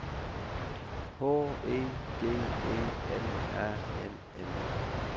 H E D E M A N N